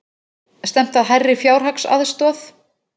Stefnt að hærri fjárhagsaðstoð